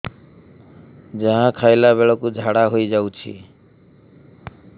ଯାହା ଖାଇଲା ବେଳକୁ ଝାଡ଼ା ହୋଇ ଯାଉଛି